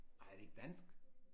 Ej er det ikke dansk?